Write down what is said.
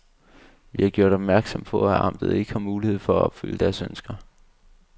Vi har gjort opmærksom på, at amtet ikke har mulighed for at opfylde deres ønsker.